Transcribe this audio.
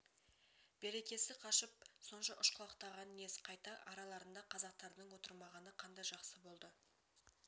берекесі қашып сонша ұшқалақтағаны нес қайта араларында қазақтардың отырмағаны қандай жақсы болды